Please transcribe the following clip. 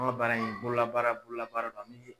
Anw ŋa baara in bololabaara bololabaara don an bi